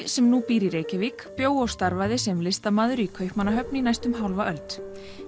sem nú býr í Reykjavík bjó og starfaði sem listamaður í Kaupmannahöfn í næstum hálfa öld